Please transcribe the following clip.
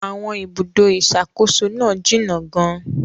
Àwọn ibùdó ìṣàkóso náà jìnnà gan-an.